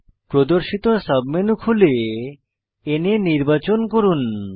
প্রদর্শিত সাবমেনু খুলে না নির্বাচন করব